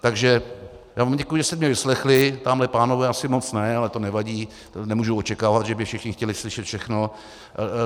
Takže já vám děkuji, že jste mě vyslechli, tamhle pánové asi moc ne, ale to nevadí, nemůžu očekávat, že by všichni chtěli slyšet všechno.